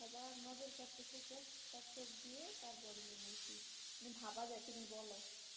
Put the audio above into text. তুমি বলো